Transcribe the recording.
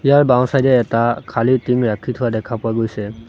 ইয়াৰ বাওঁ চাইড এ এটা খালী টিংঙ ৰাখি থোৱা দেখা পোৱা গৈছে।